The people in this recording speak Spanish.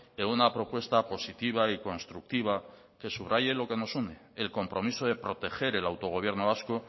en una propuesta positiva y constructiva que subraye lo que nos une el compromiso de proteger el autogobierno vasco